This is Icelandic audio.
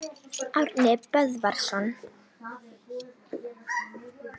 Árni Böðvarsson.